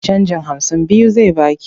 Canjin hamsin biyu zai ba ki.